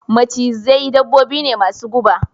Macizai dabbobi ne masu guba